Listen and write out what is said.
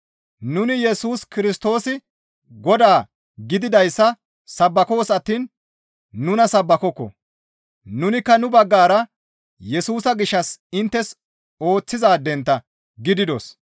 Nuni Yesus Kirstoosi Godaa gididayssa sabbakoos attiin nuna sabbakokko; nunikka nu baggara Yesusa gishshas inttes ooththizaadentta gididos.